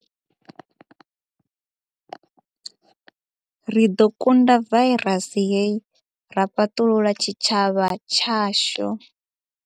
Ri ḓo kunda vairasi hei ra fhaṱulula tshitshavha tshashu.